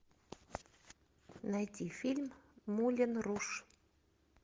найти фильм мулен руж